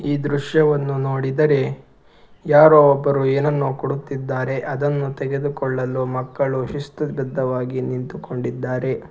ಈ ದೃಶ್ಯವನ್ನು ನೋಡಿದರೆ ಯಾರೋ ಒಬ್ಬರು ಏನನ್ನೋ ಕೊಡುತ್ತಿದ್ದಾರೆ ಅದನ್ನು ತೆಗೆದುಕೊಳ್ಳಲು ಮಕ್ಕಳು ಶಿಸ್ತು ಬಧ್ದವಾಗಿ ನಿಂತುಕೊಂಡಿದ್ದಾರೆ.